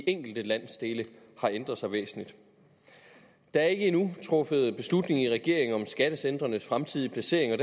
enkelte landsdele har ændret sig væsentligt der er ikke endnu truffet beslutning i regeringen om skattecentrenes fremtidige placering og